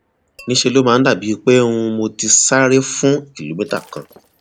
ní ṣe ló máa dàbíi pé um mo ti sáré fún kìlómítà kan